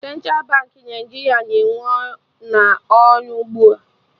Central Baankị Naijiria na-ewe n'ọrụ ugbua